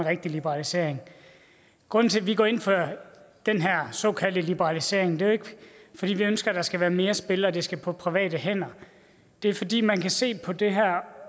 rigtig liberalisering grunden til at vi går ind for den her såkaldte liberalisering er jo ikke fordi vi ønsker at der skal være mere spil og at det skal på private hænder det er fordi man kan se på det her